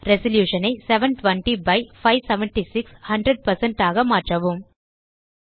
resolution ஐ 720 by 576 100 ஆக மாற்றவும்